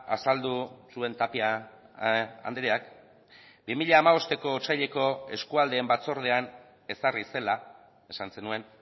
azaldu zuen tapia andreak bi mila hamabosteko otsaileko eskualdeen batzordean ezarri zela esan zenuen